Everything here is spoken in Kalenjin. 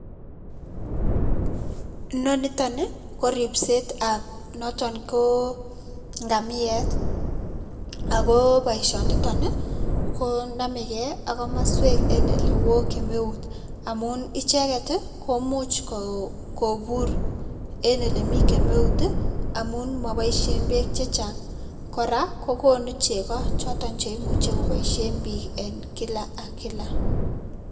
Inoni nitioni ko ripsetab noton ko ngamiet ako boisionito konamekei ak komaswek neo kemeut amun icheket komuch kopuur eng olemi kemeut amun maboishen beek chechang. Kora kokonu chego choto che imuche kopoishen biik kila eng kila.